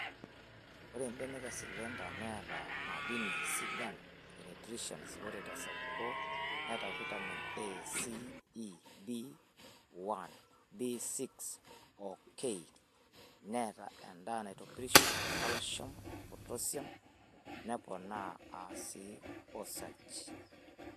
Ore mbenek e slender neata madinin sidain enutrience. ore tesapuko neata Vitamin A,C,E,B1,B6 oo K , neata endaa naitopirisho, kalsium, potashium, neponaa sii osarge.